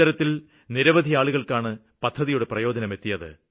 ഇത്തരത്തില് നിരവധി ആളുകള്ക്കാണ് പദ്ധതിയുടെ പ്രയോജനം എത്തിയത്